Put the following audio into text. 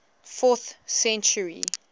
fourth century